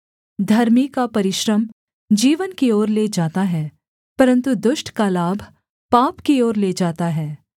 धर्मी का परिश्रम जीवन की ओर ले जाता है परन्तु दुष्ट का लाभ पाप की ओर ले जाता है